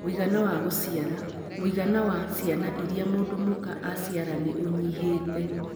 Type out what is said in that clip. Mũigana wa gũciara - mũigana wa ciana iria mũndũ mũka araciara nĩ ũnyihĩte.